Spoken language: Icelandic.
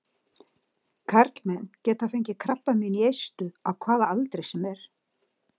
Karlmenn geta fengið krabbamein í eistu á hvaða aldri sem er.